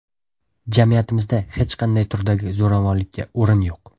Jamiyatimizda hech qanday turdagi zo‘ravonlikka o‘rin yo‘q.